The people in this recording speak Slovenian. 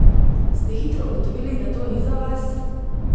Ste hitro ugotovili, da to ni za vas?